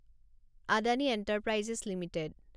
Adani enterprises limited